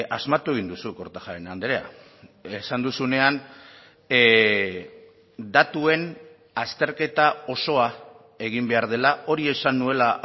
asmatu egin duzu kortajarena andrea esan duzunean datuen azterketa osoa egin behar dela hori esan nuela